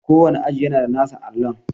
Kowane aji yana da nasa allon.